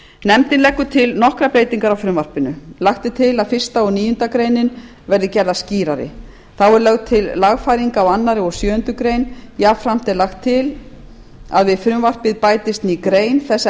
nefndin leggur til nokkrar breytingar á frumvarpinu lagt er til að fyrsta og níundu grein verði gerðar skýrari þá er lögð til lagfæring á öðrum og sjöundu greinar jafnframt er lagt til að við frumvarpið bætist ný grein þess